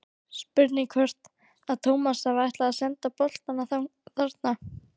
Spurning hvort að Tómas hafi ætlað að senda boltann þarna?